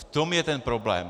V tom je ten problém.